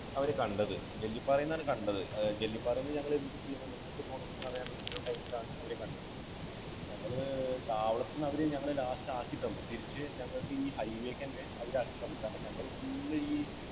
അവരെ കണ്ടത്. ജെല്ലിപ്പാറയിൽ നിന്നാണ് കണ്ടത്. ജെല്ലിപ്പാറയിൽ നിന്ന് ഞങ്ങൾ എന്തു ചെയ്യണം എങ്ങോട്ട് പോകണമെന്നറിയാതെ നിന്ന time ലാണ് അവരെ കണ്ടത്. ഞങ്ങള് താവളത്തിൽ നിന്ന് അവര് ഞങ്ങളെ last ആക്കി തന്നു. തിരിച്ച് ഞങ്ങൾക്ക് ഈ high way ലേയ്ക്ക് തന്നെ അവര് ആക്കി തന്നു. ഞങ്ങൾ full ഈ